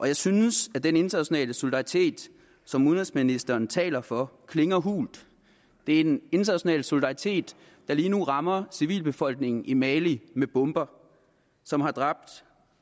jeg synes at den internationale solidaritet som udenrigsministeren taler for klinger hult det er en international solidaritet der lige nu rammer civilbefolkningen i mali med bomber som har ramt